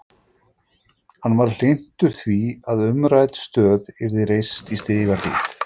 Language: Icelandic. Hann var hlynntur því að umrædd stöð yrði reist í Stigahlíð.